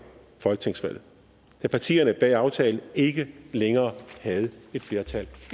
folketingsvalget da partierne bag aftalen ikke længere havde et flertal